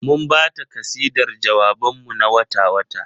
Mun ba ta kasidar jawaban mu na wata-wata.